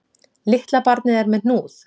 Litla barnið er með hnúð